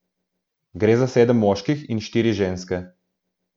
Gre za sedem moških in štiri ženske.